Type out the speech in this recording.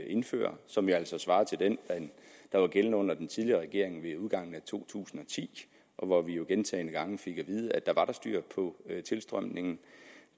indfører og som jo altså svarer til den der var gældende under den tidligere regering ved udgangen af to tusind og ti og hvor vi jo gentagne gange fik at vide at der var styr på tilstrømningen